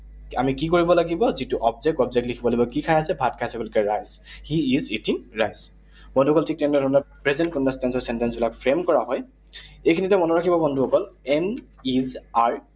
আমি কি কৰিব লাগিব? যিটো object, object লিখিব লাগিব, কি খাই আছে? ভাত খাই আছে। গতিকে rice, he is eating rice । বন্ধুসকল, ঠিক তেনেধৰণেৰে present continuous tense ৰ sentence বিলাক frame কৰা হয়। এইখিনিতে মনত ৰাখিব বন্ধুসকল। Am, is, are